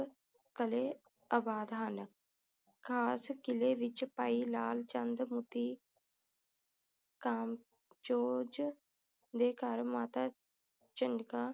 ਕਲੇ ਆਬਾਦ ਹਨ ਖਾਸ ਕਿਲੇ ਵਿਚ ਭਾਈ ਲਾਲ ਚੰਦ ਮੋਤੀ ਕਾਨਚੋਜ ਦੇ ਘਰ ਮਾਤਾ ਝਿਣਕਾ ਦੀ ਕੁੱਖ